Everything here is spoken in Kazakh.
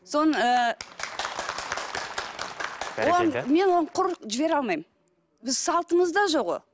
соны ыыы бәрекелді мен оны құр жібере алмаймын біз салтымызда жоқ ол